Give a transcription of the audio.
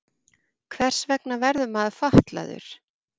Hvers vegna verður maður fatlaður?